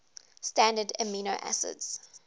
standard amino acids